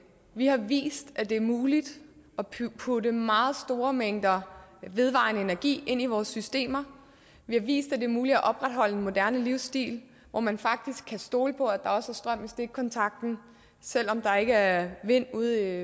vi har vist at det er muligt at putte meget store mængder vedvarende energi ind i vores systemer vi har vist at det er muligt at opretholde en moderne livsstil hvor man faktisk kan stole på at der også at strøm i stikkontakten selv om der ikke er vind derude